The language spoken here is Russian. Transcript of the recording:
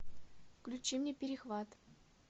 включи мне перехват